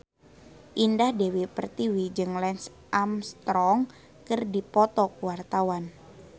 Indah Dewi Pertiwi jeung Lance Armstrong keur dipoto ku wartawan